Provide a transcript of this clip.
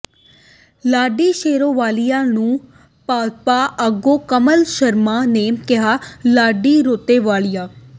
ਲਾਡੀ ਸ਼ੇਰੋਵਾਲੀਆ ਨੂੰ ਭਾਜਪਾ ਆਗੂ ਕਮਲ ਸ਼ਰਮਾ ਨੇ ਕਿਹਾ ਲਾਡੀ ਰੇਤੋਵਾਲੀਆ